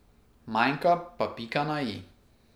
Manjka pa pika na i.